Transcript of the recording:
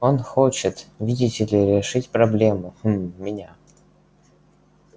он хочет видите ли решить проблему хм меня